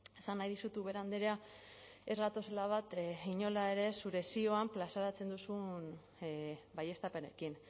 esan nahi dizut ubera andrea ez gatozela bat inola ere zure zioan plazaratzen dituzun baieztapenekin